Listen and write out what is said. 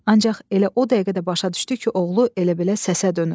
Ancaq elə o dəqiqə də başa düşdü ki, oğlu elə belə səsə dönüb.